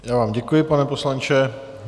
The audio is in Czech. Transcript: Já vám děkuji, pane poslanče.